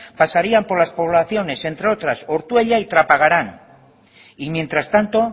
pasarían por las poblaciones entre otras ortuella y trapagaran y mientras tanto